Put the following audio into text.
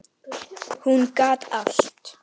Hún gat allt.